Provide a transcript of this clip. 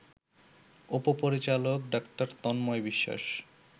উপ-পরিচালক ডা.তন্ময় বিশ্বাস